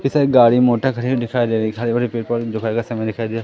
ढेर सारी गाड़ी मोटर खड़ी हुई दिखाई दे रही हरे भरे पेड़ पौधे दोपहर के समय दिखाई दिया--